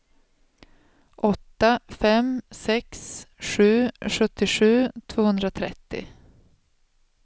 åtta fem sex sju sjuttiosju tvåhundratrettio